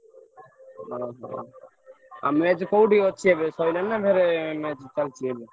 ଓହୋ, ଆଉ match କୋଉଠି ଅଛି ଏବେ ସଇଲାଣି ନା ଫେରେ match ଚାଲଚି ଏବେ?